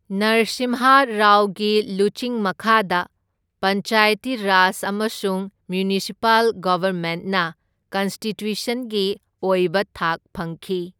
ꯅꯔꯁꯤꯝꯍꯥ ꯔꯥꯎꯒꯤ ꯂꯨꯆꯤꯡ ꯃꯈꯥꯗ ꯄꯟꯆꯥꯌꯇꯤ ꯔꯥꯖ ꯑꯃꯁꯨꯡ ꯃ꯭ꯌꯨꯅꯤꯁꯤꯄꯥꯜ ꯒꯚꯔꯃꯦꯟꯅ ꯀꯟꯁꯇꯤꯇ꯭ꯌꯨꯁꯟꯒꯤ ꯑꯣꯏꯕ ꯊꯥꯛ ꯐꯪꯈꯤ꯫